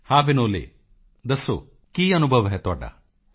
ਹਾਂ ਵਿਨੋਲੇ ਦੱਸੋ ਕੀ ਅਨੁਭਵ ਹੈ ਤੁਹਾਡਾ